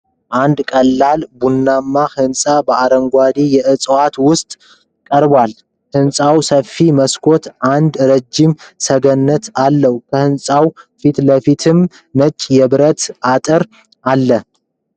አንድ ቀላል ቡናማ ህንፃ በአረንጓዴ እጽዋት ውስጥ ቀርቧል፡፡ ህንፃው ሰፋፊ መስኮቶችና አንድ ረዥም ሰገነት አለው፡፡ ከህንፃው ፊት ለፊት ነጭ የብረት አጥር አለ፡፡